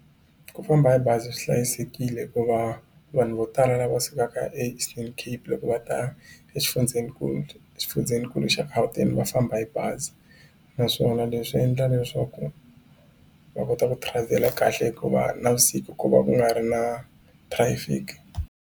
Ku famba hi bazi swi hlayisekile hikuva vanhu vo tala lava sukaka eEastern Cape loko va ta exifundzenikulu exifundzenikulu xa Gauteng va famba hi bazi naswona leswi endla leswaku va kota ku travel kahle hikuva navusiku ku va ku nga ri na traffic.